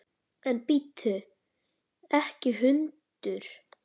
En bíttu ekki hundur!